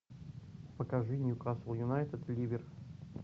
покажи ньюкасл юнайтед ливер